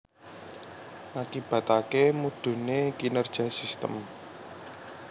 Ngakibataké mudhuné kinerja sistem